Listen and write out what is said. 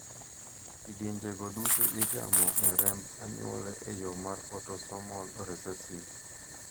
Kidienje go duto igamo ga e remb anyuola eyo mar autosomal recessive